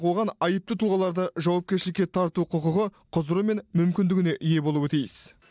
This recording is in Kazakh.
оған айыпты тұлғаларды жауапкершілікке тарту құқығы құзыры мен мүмкіндігіне ие болуы тиіс